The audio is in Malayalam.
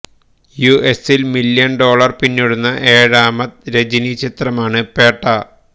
യുഎസില് മില്യണ് ഡോളര് പിന്നിടുന്ന ഏഴാമത് രജനി ചിത്രമാണ് പേട്ട